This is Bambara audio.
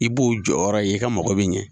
I b'u jɔyɔrɔ ye, i ka mako bɛ ɲɛ.